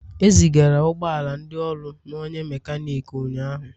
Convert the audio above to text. E zigara ụgbọ ala ndị ọrụ na onye mekaniki ụnyahụ.